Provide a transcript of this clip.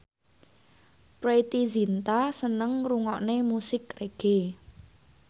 Preity Zinta seneng ngrungokne musik reggae